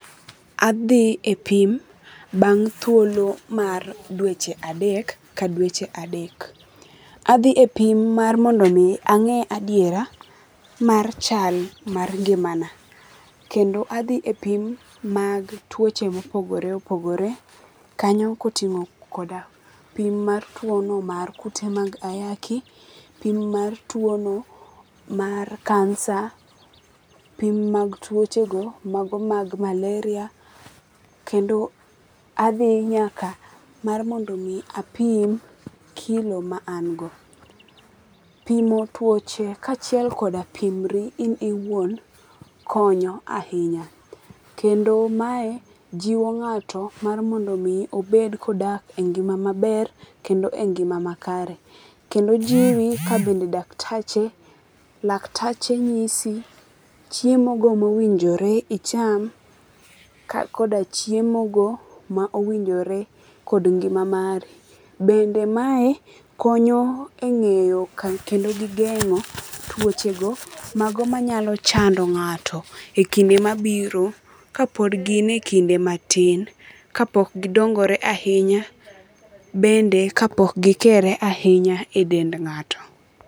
Adhi e pim bang' thuolo mar dweche adek ka dweche adek. Adhi e pim mar mondo mi ang'e adiera mar chal mar ngimana. Kendo adhi e pim mag tuoche mopogopre opogore. Kanyo ka oting'o koda pim mar tuo no mar kute mag ayaki. Pim mar tuo no mar kansa. Pim mag tuoche go mago mag malaria. Kendo adhi nyaka mar mondo mi apim kilo ma an go. Pimo tuoche kachiel goda pimri in owuon konyo ahinya. Kendo mae jiwo ng'ato mar mondo mi obed kodak e ngima maber kendo e ngima makare. Kendo jiwi ka bende daktache laktache nyisi chiemo go mowinjore icham koda chiemo go mo owinjore kod ngima mari. Bende mae konyo eng'eyo kendo gi geng'o tuoche go mago manyalo chando ng'ato e kinde mabiro ka pod gin e kinde matin kapok gidongore ahinya. Bende ka pok gikere ahinya e dend ng'ato.